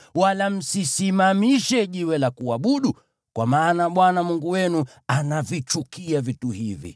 wala msisimamishe jiwe la kuabudu, kwa maana Bwana Mungu wenu anavichukia vitu hivi.